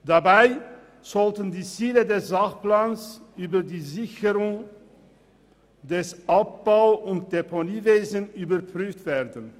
Dabei sollten die Ziele des Sachplans über die Sicherung des Abbau- und Deponiewesens überprüft werden.